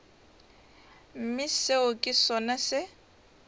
mme seo ke sona se